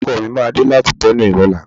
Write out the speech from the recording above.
Ọkọ mi máa dé láti ilè Benue lọ́la.